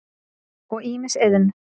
og ýmis iðn.